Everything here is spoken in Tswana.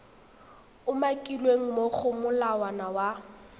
umakilweng mo go molawana wa